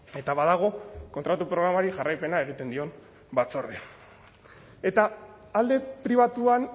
eta badago kontratu programari jarraipena egiten dion batzordea eta alde pribatuan